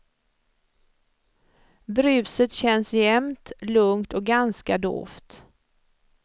Bruset känns jämnt, lugnt och ganska dovt.